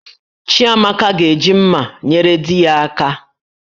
Chiamaka ga-eji mmá nyere di ya aka